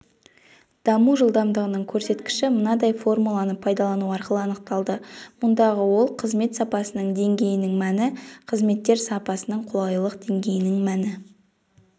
даму жылдамдығының көрсеткіші мынадай формуланы пайдалану арқылы анықталды мұндағы ок қызмет сапасының деңгейінің мәні қызметтер сапасының қолайлылық деңгейінің мәні